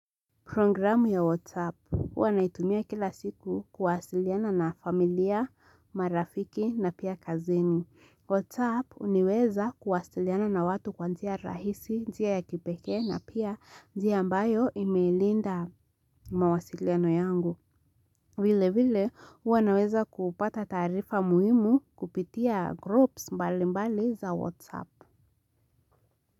Programu ya WhatsApp. Huwa naitumia kila siku kuwasiliana na familia, marafiki na pia kazeni. WhatsApp huniweza kuwasiliana na watu kwa njia rahisi, njia ya kipekee na pia njia ambayo imeilinda mawasiliano yangu. Vile vile, huwa naweza kupata taarifa muhimu kupitia groups mbali mbali za WhatsApp.